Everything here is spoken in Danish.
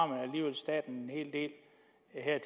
staten det